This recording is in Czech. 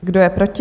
Kdo je proti?